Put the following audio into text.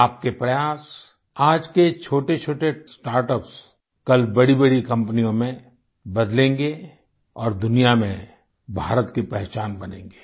आपके प्रयास आज के छोटेछोटे स्टार्टअप्स कल बड़ीबड़ी कंपनियों में बदलेंगे और दुनिया में भारत की पहचान बनेंगे